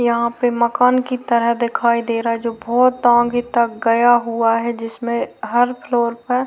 यहां पे मकान की तरह दिखाई दे रहा है जो बहोत आगे तक गया हुआ है जिसमें हर फ्लोर पर --